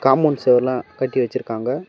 Compound சுவர் எல்லாம் கட்டி வச்சிருக்காங்க.